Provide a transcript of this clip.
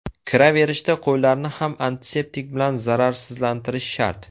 Kiraverishda qo‘llarni ham antiseptik bilan zararsizlantirish shart.